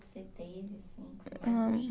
Você teve assim que você mais